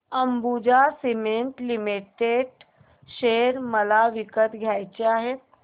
Ambuja cement limited share मला विकत घ्यायचे आहेत